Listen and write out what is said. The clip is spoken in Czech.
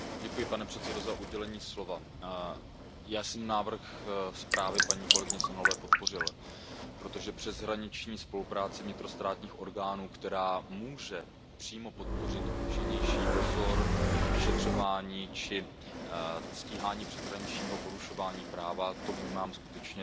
Pane předsedající, já jsem návrh zprávy paní kolegyně Sehnalové podpořil, protože přeshraniční spolupráce vnitrostátních orgánů, která může přímo podpořit účinnější dozor, vyšetřování či stíhání přeshraničního porušování práva, to vnímám skutečně